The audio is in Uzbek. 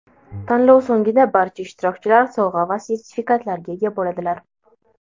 Tanlov so‘ngida barcha ishtirokchilar sovg‘a va sertifikatlarga ega bo‘ladilar!.